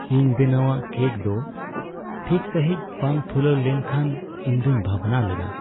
ᱤᱧ ᱵᱮᱱᱟᱣᱟᱜ ᱠᱮᱹᱠ ᱫᱚ ᱴᱷᱤᱠ ᱥᱟᱹᱦᱤᱡ ᱵᱟᱝ ᱯᱷᱩᱞᱟᱹᱣ ᱞᱮᱱ ᱠᱷᱟᱱ ᱤᱧ ᱫᱚᱧ ᱵᱷᱟᱵᱽᱱᱟ ᱞᱮᱱᱟ ᱾